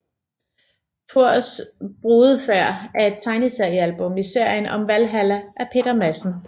Thors brudefærd er et tegneseriealbum i serien om Valhalla af Peter Madsen